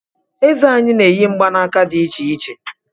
Eze anyị na-eyi mgbanaka di icheiche